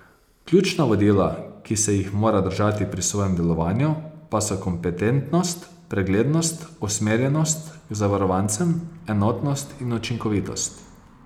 Ključna vodila, ki se jih mora držati pri svojem delovanju, pa so kompetentnost, preglednost, usmerjenost k zavarovancem, enotnost in učinkovitost.